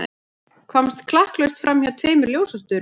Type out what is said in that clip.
Komst klakklaust framhjá tveimur ljósastaurum.